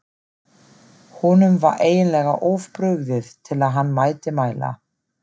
Honum var eiginlega of brugðið til að hann mætti mæla.